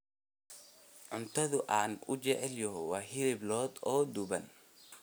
Cuntada aan ugu jecelahay waa hilib lo'aad oo duban.